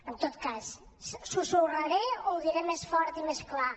en tot cas susurraré o ho diré més fort i més clar